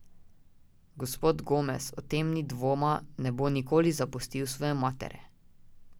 Gospod Gomez, o tem ni dvoma, ne bo nikoli zapustil svoje matere.